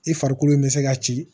I farikolo in bɛ se ka ci